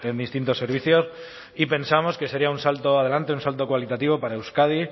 distintos servicios y pensamos que sería un salto adelante un salto cualitativo para euskadi